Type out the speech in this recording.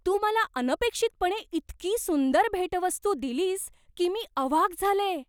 तू मला अनपेक्षितपणे इतकी सुंदर भेटवस्तू दिलीस की मी अवाक झाले.